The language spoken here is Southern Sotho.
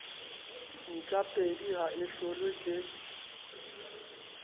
ntjapedi ha e hlolwe ke